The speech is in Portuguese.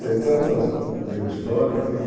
Tem tantas digo histórias que.